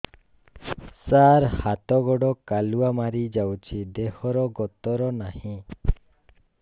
ସାର ହାତ ଗୋଡ଼ କାଲୁଆ ମାରି ଯାଉଛି ଦେହର ଗତର ନାହିଁ